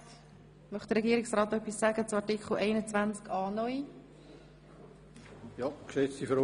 Möchte sich Regierungsrat Käser zum Antrag zu Artikel 21a (neu) äussern?